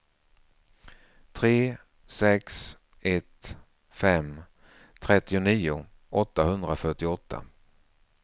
tre sex ett fem trettionio åttahundrafyrtioåtta